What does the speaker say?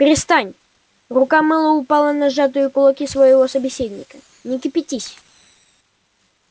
перестань рука мэллоу упала на сжатые кулаки своего собеседника не кипятись